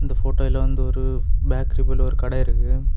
இந்த போட்டோயில வந்து ஒரு பேக்கரி போல ஒரு கடை இருக்கு.